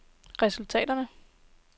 resultaterne